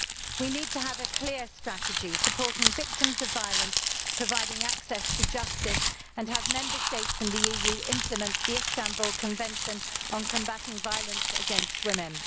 We need to have a clear strategy supporting victims of violence and providing access to justice, and to have Member States in the EU implement the Istanbul Convention on combating violence against women.